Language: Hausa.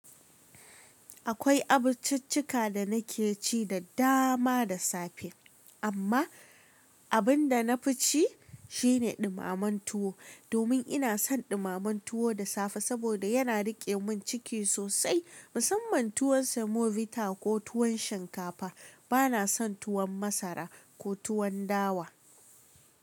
Akwai abinciccika da na ke ci da dama da safe, amma abin da na fi ci shine ɗumamen tuwo, domin ina son ɗumamen tuwo da safe saboda yana riƙe min ciki sosai. Musamman tuwon semovita ko tuwon shinkafa. Ba na son tuwon masara ko tuwon dawa.